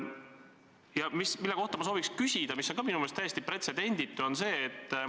Ma soovin küsida asja kohta, mis on minu meelest ka täiesti pretsedenditu.